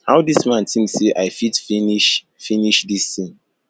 how dis man think say i fit finish finish dis thing